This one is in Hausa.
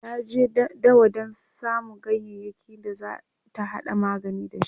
ta je dawa Dan samu ganyayaki da zata hada magani da shi